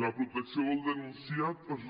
la protecció del denunciat es